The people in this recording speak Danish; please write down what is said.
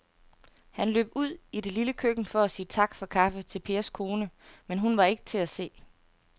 Han løb ud i det lille køkken for at sige tak for kaffe til Pers kone, men hun var ikke til at se.